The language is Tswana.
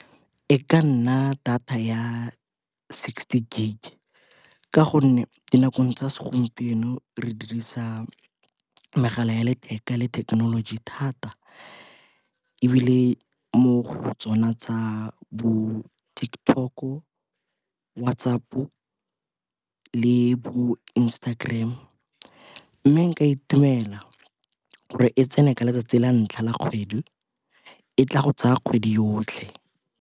E ka nna data ya sixty gig ka gonne dinakong tsa segompieno re dirisa megala ya letheka le thekenoloji thata. Ebile mo go tsona tsa bo TikTok-o, WhatsApp-o le bo Instagram mme nka itumela re e tsene ka letsatsi la ntlha la kgwedi e tla go tsaya kgwedi yotlhe.